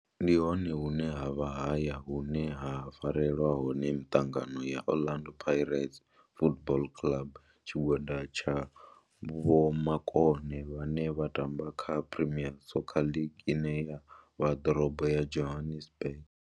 Ndi hone hune havha haya hune ha farelwa hone miṱangano ya Orlando Pirates Football Club. Tshigwada tsha vhomakone vhane vha tamba kha Premier Soccer League ine ya vha ḓorobo ya Johannesburg.